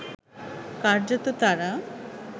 কার্যত তাঁরা